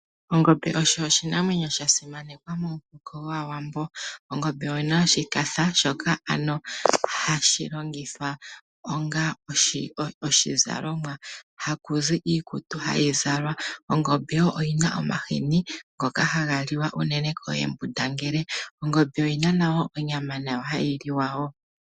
Ongombe osho oshinamwenyo shasimanekwa momuhoko gwaawambo. Ongombe oyina oshikafa shoka ano hashi longithwa onga oshizalomwa, haku zi iikutu hayi zalwa. Ongombe wo oyina omahini ngoka haga liwa unene koohembundangele. Ongombe oyina nayo onyama hayi liwa wo.